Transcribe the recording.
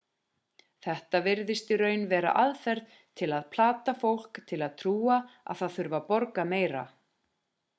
þetta virðist í raun vera aðferð til að plata fólk til að trúa að það þurfi að borga meira